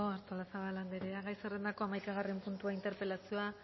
artolazabal andrea gai zerrendako hamaikagarren puntua interpelazioa